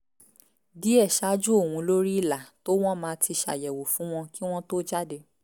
díẹ̀ ṣáájú òun lórí ìlà tó wọ́n ma ti ṣàyẹ̀wò fún wọn kí wọ́n tó jáde